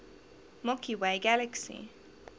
milky way galaxy